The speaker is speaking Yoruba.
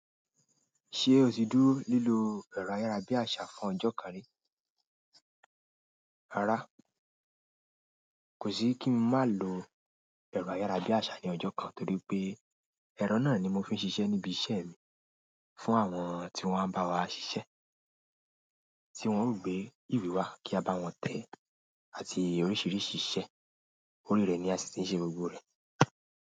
Ṣé o ti dúró lílo ẹ̀rọ ayárabíàṣá fún ọjọ́ kan rí? Rárá, kò sí kí ń máa lo ẹrọ ayarabiasa ni ọjọ kan, torí pé ẹrọ náà ni mó fi n sise ni ibi iṣẹ́ mi, fún àwọn ti wọn a ba wa ṣiṣe, tí wọn o gbé iwè wa ki a ba wọn tẹ e àti oríṣiríṣi iṣẹ́ orí rẹ ni a si ti n ṣe gbogbo e.